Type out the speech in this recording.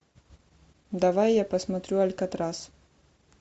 давай я посмотрю алькатрас